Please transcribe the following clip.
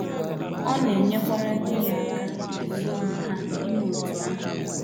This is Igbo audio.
Ọ na - enyekwara di ya aka n’ịzụ ụmụ ha ime otú ahụ.